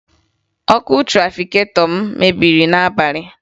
Ọkụ trafiketọ m mebiri n'abalị